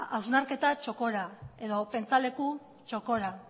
hausnarketa txokora edo pentsaleku txokora